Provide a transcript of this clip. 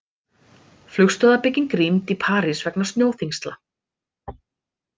Flugstöðvarbygging rýmd í París vegna snjóþyngsla